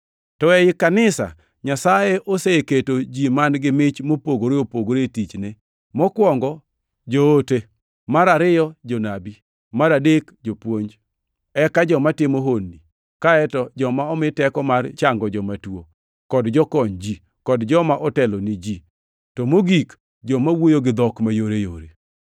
To ei kanisa, Nyasaye oseketo ji man-gi mich mopogore opogore e tichne: Mokwongo, joote, mar ariyo, jonabi, to mar adek, jopuonj, eka joma timo honni, kaeto joma omi teko mar chango joma tuo, kod jokony ji, kod joma otelo ni ji, to mogik, joma wuoyo gi dhok mayoreyore.